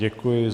Děkuji.